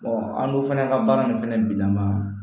an dun fana ka baara nin fɛnɛ bila ma